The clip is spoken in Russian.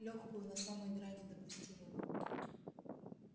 лёгкую на самой грани допустимого